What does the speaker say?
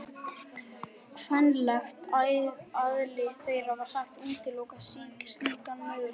Kvenlegt eðli þeirra var sagt útiloka slíkan möguleika.